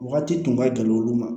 Wagati tun ka gɛlɛn olu ma